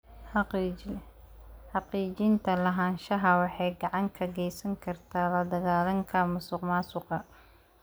Xaqiijinta lahaanshaha waxay gacan ka geysan kartaa la dagaallanka musuqmaasuqa.